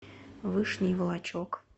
вышний волочек